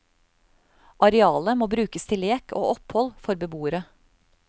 Arealet må brukes til lek og opphold for beboere.